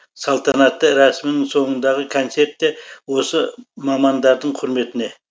салтанатты рәсімнің соңындағы концерт те осы мамандардың құрметіне